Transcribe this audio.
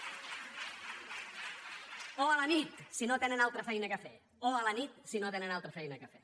o a la nit si no tenen altra feina a fer o a la nit si no tenen altra feina a fer